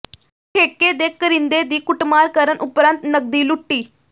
ਠੇਕੇ ਦੇ ਕਰਿੰਦੇ ਦੀ ਕੁੱਟਮਾਰ ਕਰਨ ਉਪਰੰਤ ਨਕਦੀ ਲੁੱਟੀ